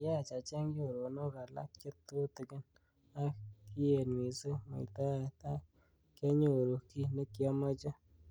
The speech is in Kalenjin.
Kiyach acheng choronok alak che tutikin ak kiet missing muitaet ak kyanyoru ki nekiameche.